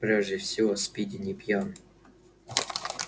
прежде всего спиди не пьян